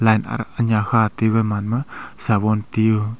lai khati man ma sabon tio.